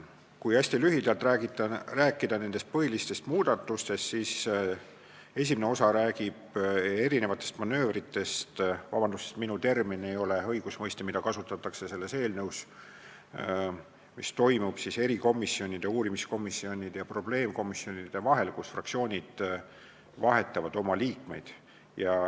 Kui hästi lühidalt rääkida põhilistest muudatustest, siis eelnõu esimene osa räägib manöövritest – vabandust, see ei ole õigusmõiste, mida kasutatakse selles eelnõus –, mis toimuvad erikomisjonide, uurimiskomisjonide ja probleemkomisjonide vahel, kui fraktsioonid vahetavad oma liikmeid.